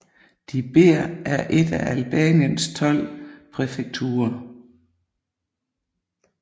Dibër er et af Albaniens tolv præfekturer